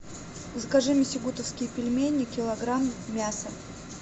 закажи мне сюгутовские пельмени килограмм мясо